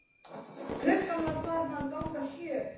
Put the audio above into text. Klukkan var farin að ganga sjö.